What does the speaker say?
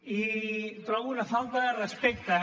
i trobo una falta de respecte